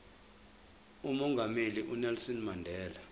umongameli unelson mandela